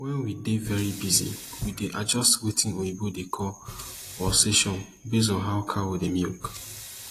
wen we dey very busy we dey adjust wetin oyibo dey call pulsation based on how cow dey milk